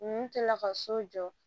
Ninnu kɛlen ka so jɔ